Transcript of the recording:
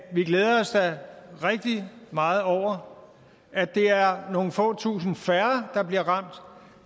vi glæder os da rigtig meget over at det er nogle få tusinde færre der bliver ramt